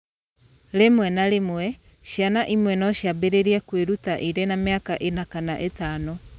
Rĩmwe na rĩmwe, ciana imwe no ciambĩrĩrie kwĩruta irĩ na mĩaka ĩna kana ĩtano.